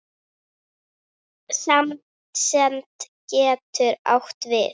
Samsemd getur átt við